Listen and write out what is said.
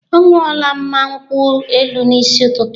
Ọ ṅụọla mma nkwụ elu n'isi ụtụtụ a.